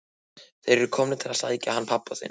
Þeir eru komnir til að sækja hann pabba þinn.